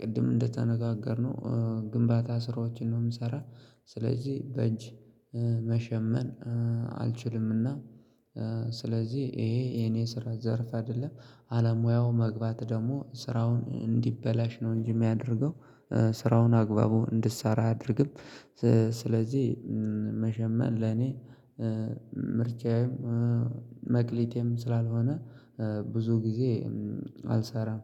ቅድም እንደተነጋገርነው ግንባታ ስራዎችን ነው የምሰራ። ስለዚህ በእጅ መሸመን አልችልምና። ስለዚህ ይሄ የኔ ስራ ዘርፍ አይደለም። አለሙያው መግባት ደግሞ ስራውን እንዲበላሽ ነው እንጂ የሚያደርገው። ስራውን አግባቡ እንድሳራ አያደርግም። ስለዚህ መሸመን ለኔ ምርጫዬም መክሊቴም ስላልሆነ ብዙ ጊዜ አልሰራም።